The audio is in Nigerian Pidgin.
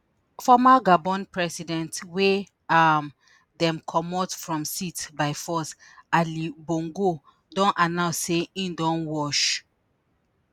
former gabon president wey um dem comot from seat by force ali bongo don announce say im don wash